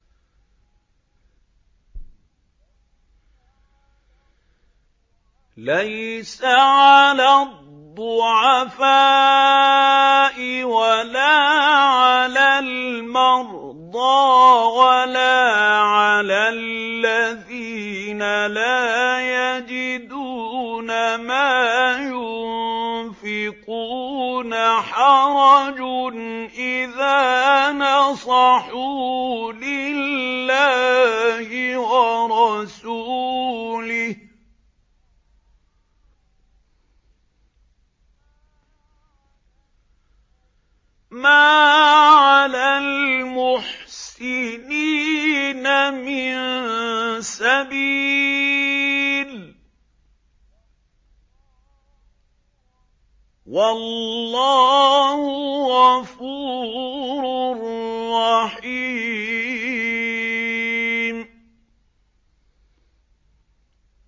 لَّيْسَ عَلَى الضُّعَفَاءِ وَلَا عَلَى الْمَرْضَىٰ وَلَا عَلَى الَّذِينَ لَا يَجِدُونَ مَا يُنفِقُونَ حَرَجٌ إِذَا نَصَحُوا لِلَّهِ وَرَسُولِهِ ۚ مَا عَلَى الْمُحْسِنِينَ مِن سَبِيلٍ ۚ وَاللَّهُ غَفُورٌ رَّحِيمٌ